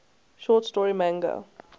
short story manga